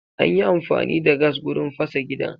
Anyi amfani da gas gurin fasa gidan